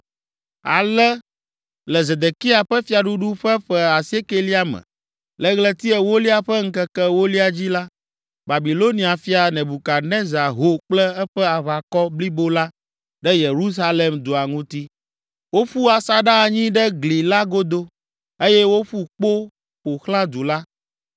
Ale le Zedekia ƒe fiaɖuɖu ƒe ƒe asiekɛlia me, le ɣleti ewolia ƒe ŋkeke ewolia dzi la, Babilonia fia, Nebukadnezar ho kple eƒe aʋakɔ blibo la ɖe Yerusalem dua ŋuti. Woƒu asaɖa anyi ɖe gli la godo eye woƒu kpo ƒo xlã du la.